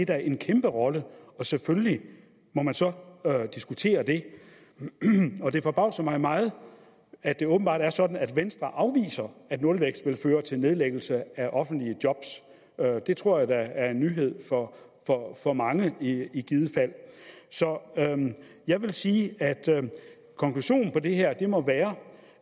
da en kæmpe rolle og selvfølgelig må man så diskutere det det forbavser mig meget at det åbenbart er sådan at venstre afviser at nulvækst vil føre til nedlæggelse af offentlige job det tror jeg da er en nyhed for mange i givet fald så jeg vil sige at konklusionen på det her må være